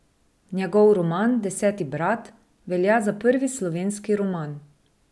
Njegov roman Deseti brat velja za prvi slovenski roman.